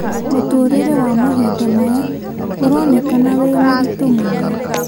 Mũtũrĩre wa mahinda maya ũronekana wĩ mũritũ mũno